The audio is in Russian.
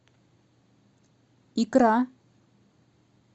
икра